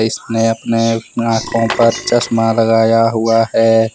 अपने आंखों पर चश्मा लगाया हुआ है।